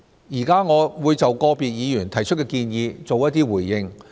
現在，我會就個別議員提出的建議作出一些回應。